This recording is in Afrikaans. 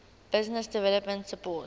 business development support